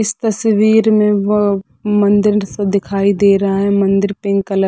इस तस्वीर में म मंदिर -सा दिखाई दे रहा है मंदिर पिंक कलर --